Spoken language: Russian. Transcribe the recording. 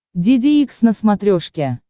деде икс на смотрешке